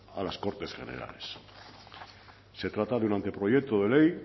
a las cortes generales se trata de un anteproyecto de ley